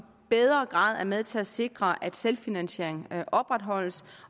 bedre grad med til at sikre at selvfinansiering opretholdes